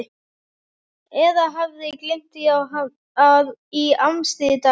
Eða hafði gleymt því í amstri daganna.